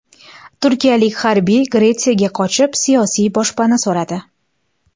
Turkiyalik harbiy Gretsiyaga qochib, siyosiy boshpana so‘radi.